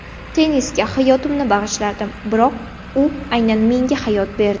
Tennisga hayotimni bag‘ishladim, biroq u aynan menga hayot berdi.